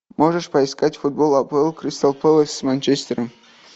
можешь поискать футбол апл кристал пэлас с манчестером